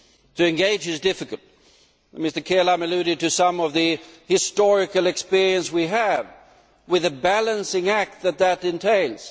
to engage is difficult. Mr Kelam alluded to some of the historical experience we have, with the balancing act that that entails.